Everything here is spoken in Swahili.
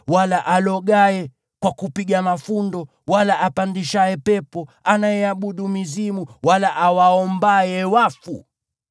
wala arogaye kwa kupiga mafundo, wala mwaguzi au anayeabudu mizimu, wala awaombaye wafu.